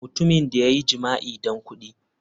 Mutumin da ya yi jima'i don kudi.